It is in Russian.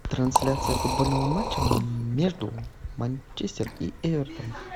трансляция футбольного матча между манчестер и эвертон